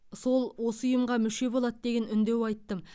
сол осы ұйымға мүше болады деген үндеу айттым